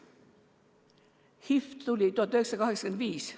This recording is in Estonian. HIV tuli 1985.